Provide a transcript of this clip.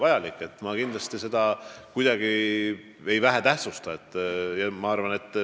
Kindlasti ma ei pea seda kuidagi vähetähtsaks.